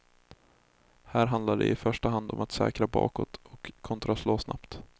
Här handlar det i första hand om att säkra bakåt och kontraslå snabbt.